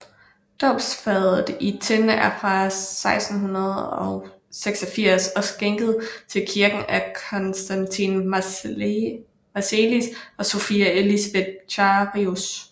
Dåbsfadet i tin er fra 1686 og skænket til kirken af Constantin Marselis og Sophia Elisabeth Charisius